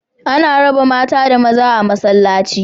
Ana raba mata da maza a masallaci